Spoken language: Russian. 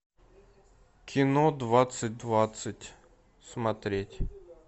кино двадцать двадцать смотреть